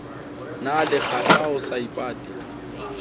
na le kgahla ho seipati